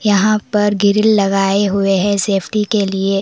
यहां पर ग्रिल लगाए हुए है सेफ्टी के लिए।